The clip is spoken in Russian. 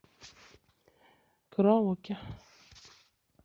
караоке